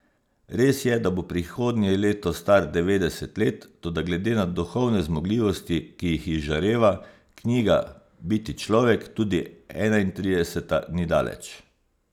Res je, da bo prihodnje leto star devetdeset let, toda glede na duhovne zmogljivosti, ki jih izžareva knjiga Biti človek, tudi enaintrideseta ni daleč.